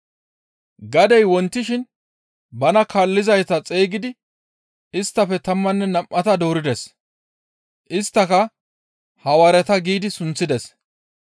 Gadey wontishin bana kaallizayta xeygidi isttafe tammanne nam7ata doorides. Isttaka, «Hawaareta» giidi sunththides.